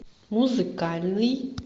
музыкальный